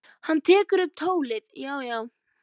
Hann tekur upp tólið: Já, já.